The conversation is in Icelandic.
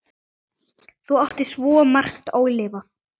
Þú áttir svo margt ólifað.